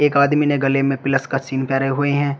एक आदमी ने गले में प्लस का सीन परे हुए हैं।